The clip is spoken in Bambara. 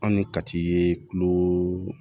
An ni kati ye tuloo